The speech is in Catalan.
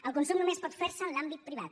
el consum només pot fer se en l’àmbit privat